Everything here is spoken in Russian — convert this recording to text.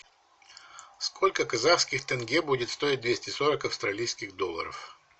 сколько казахских тенге будет стоить двести сорок австралийских долларов